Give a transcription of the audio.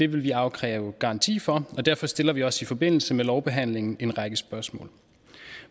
vil vi afkræve garanti for og derfor stiller vi også i forbindelse med lovbehandlingen en række spørgsmål